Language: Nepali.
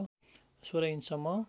१६ इन्च सम्म